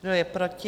Kdo je proti?